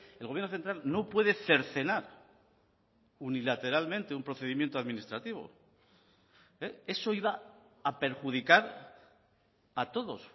el gobierno central no puede cercenar unilateralmente un procedimiento administrativo eso iba a perjudicar a todos